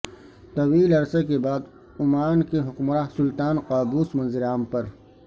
طویل عرصہ بعد عمان کے حکمراں سلطان قابوس منظر عام پر